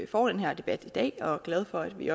får den her debat i dag jeg er glad for at vi